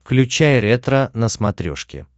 включай ретро на смотрешке